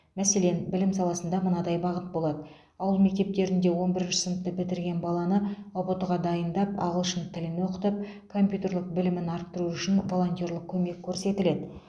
мәселен білім саласында мынадай бағыт болады ауыл мектептерінде он бірінші сыныпты бітірген баланы ұбт ға дайындап ағылшын тілін оқытып компьютерлік білімін арттыру үшін волонтерлік көмек көрсетіледі